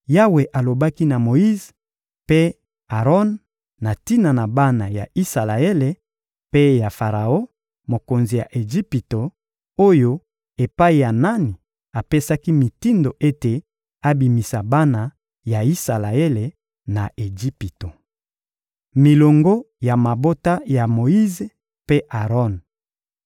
Yawe alobaki na Moyize mpe Aron na tina na bana ya Isalaele mpe ya Faraon, mokonzi ya Ejipito, oyo epai ya nani apesaki mitindo ete abimisa bana ya Isalaele na Ejipito. Milongo ya mabota ya Moyize mpe Aron